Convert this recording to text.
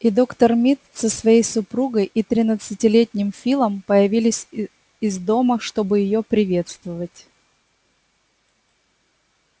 и доктор мид со своей супругой и тринадцатилетним филом появились и из дома чтобы её приветствовать